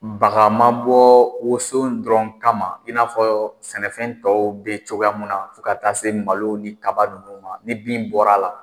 Baga man bɔ woso dɔrɔn kama in n'afɔ sɛnɛfɛn tɔw bɛ cogoya mun na fo ka taa se malo ni kaba nunnu ma ni bin bɔra a la